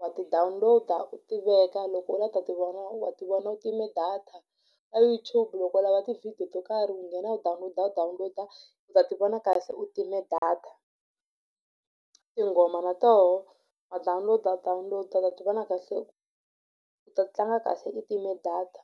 wa ti download-a u ti veka loko u lava ku ta ti vona u wa ti vona u time data. Ka YouTube loko u lava tivhidiyo to karhi u nghena u ta download-a u download-a u ta ti vona kahle u time data tinghoma na toho wa download-a u download-a u ta ti vona kahle u ta tlanga kahle i time data .